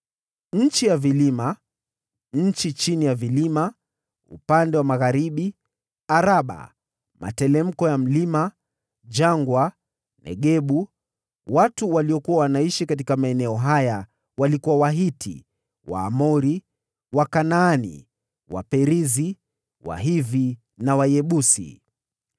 nchi ya vilima, shefela, upande wa magharibi, Araba, materemko ya milima, jangwa, na Negebu; nchi za Wahiti, Waamori, Wakanaani, Waperizi, Wahivi na Wayebusi):